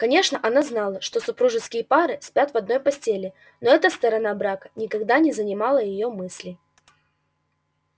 конечно она знала что супружеские пары спят в одной постели но эта сторона брака никогда не занимала её мыслей